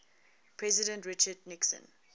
president richard nixon